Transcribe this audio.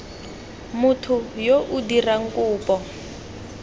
motho yo o dirang kopo